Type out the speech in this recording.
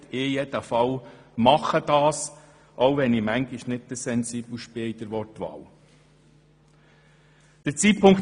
Ich werde dies auf jeden Fall tun, auch wenn ich manchmal nicht der Sensibelste bin, was die Wortwahl betrifft.